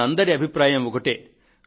మనందరి అభిప్రాయం ఒకటే